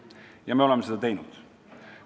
Ja me oleme seda teinud.